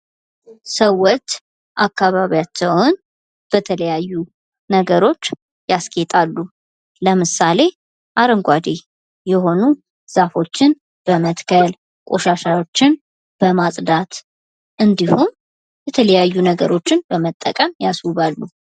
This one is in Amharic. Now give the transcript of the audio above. ሰዎች አካባቢያቸውን በተለያየው ነገሮች ያስጌጣሉ ለምሳሌ አረንጓዴ የሆኑ ዛፎችን በመትከል፣ ቆሻሻዎችን በማጽዳት እንዲሁም የተለያዩ ነገሮችን በመጠቀም ያስውባሉ።